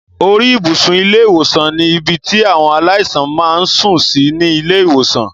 Orí ibùsùn ilé ìwòsàn ní ibi tí àwọn aláìsàn máa ń sùn sí ní ilé ìwòsàn